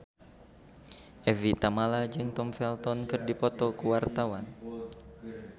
Evie Tamala jeung Tom Felton keur dipoto ku wartawan